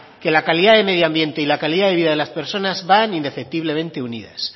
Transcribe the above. que la calidad del medioambiente y la calidad de vida de las personas van indefectiblemente unidas